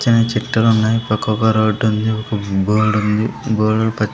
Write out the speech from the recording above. పచ్చని చుట్లు ఉన్నాయి పక్కకు ఒక్క రోడ్డు ఉంది బోల్డు ఉంది బోలేడు --